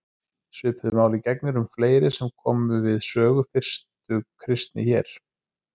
Svipuðu máli gegnir um fleiri sem komu við sögu fyrstu kristni hér.